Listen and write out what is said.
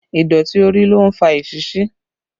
Ìdọ̀tí orí ló ń fa esisí